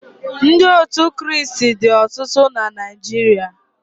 Ndị otu Krịịstị dị ọtụtụ na Naịjirịa